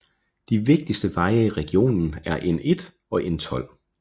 De vigtigste veje i regionen er N1 og N12